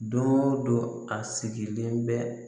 Don go don a sigilen bɛ